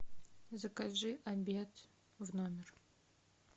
закажи обед в номер